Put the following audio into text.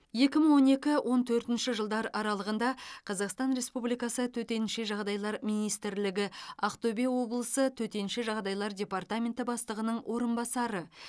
екі мың он екі он төртінші жылдар аралығында қазақстан республикасы төтенше жағдайлар министрлігі ақтөбе облысы төтенше жағдайлар департаменті бастығының орынбасары